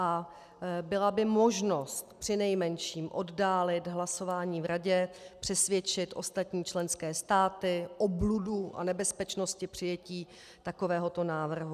A byla by možnost přinejmenším oddálit hlasování v Radě, přesvědčit ostatní členské státy o bludu a nebezpečnosti přijetí takovéhoto návrhu.